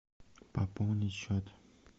пополнить счет